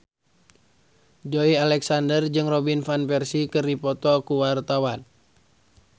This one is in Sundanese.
Joey Alexander jeung Robin Van Persie keur dipoto ku wartawan